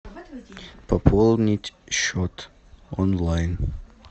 пополнить счет онлайн